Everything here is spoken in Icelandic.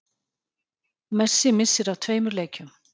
Messi missir af tveimur leikjum